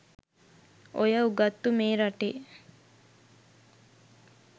ඔය උගත්තු මේ රටේ